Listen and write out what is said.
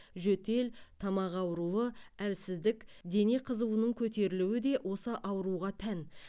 жөтел тамақ ауруы әлсіздік дене қызуының көтерілуі де осы ауруға тән